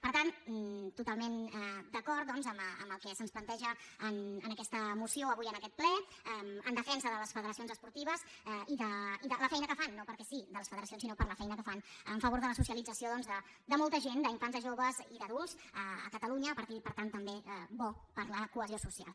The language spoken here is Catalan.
per tant totalment d’acord doncs amb el que se’ns planteja en aquesta moció avui en aquest ple en de·fensa de les federacions esportives i de la feina que fan no perquè sí de les federacions sinó per la feina que fan en favor de la socialització doncs de molta gent d’infants de joves i d’adults a catalunya i per tant també bo per a la cohesió social